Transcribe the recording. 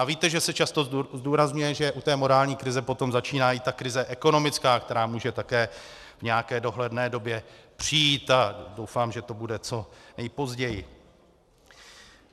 A víte, že se často zdůrazňuje, že u té morální krize potom začíná i ta krize ekonomická, která může také v nějaké dohledné době přijít, a doufám, že to bude co nejpozději.